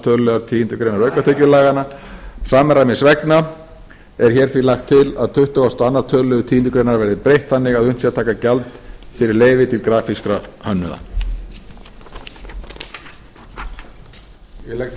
öðrum tölulið tíundu greinar aukatekjulaganna samræmis vegna er því lagt til að tuttugasta og öðrum tölulið tíundu greinar verði breytt þannig að unnt sé að taka gjald fyrir leyfi til grafískra hönnuða ég legg til